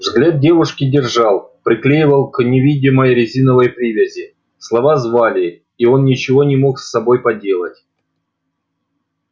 взгляд девушки держал приклеивал к невидимой резиновой привязи слова звали и он ничего не мог с собой поделать